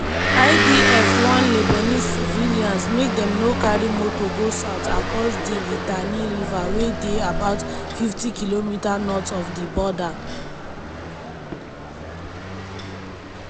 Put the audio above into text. idf warn lebanese civilians make dem no carry motor go south across di litani river wey dey about 50km north of di border.